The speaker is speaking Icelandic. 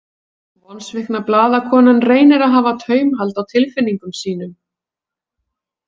Vonsvikna blaðakonan reynir að hafa taumhald á tilfinningum sínum.